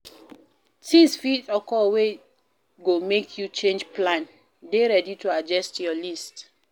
Things fit occur wey go make you change plan dey ready to adjust your list